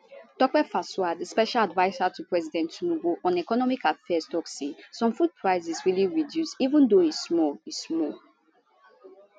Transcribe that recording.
tope fasua di special adviser to president tinubu on economic affairs tok say some food prices really reduce even though e small e small